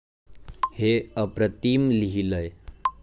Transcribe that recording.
हे अप्रतिम लिहीलंय.